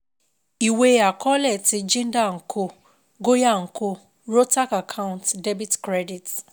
Ìwe àkọọ́lẹ̀ ti JINDAL & CO GOYAL & CO, ROHTAK ACCOUNT debit credit